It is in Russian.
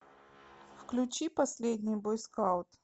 включи последний бойскаут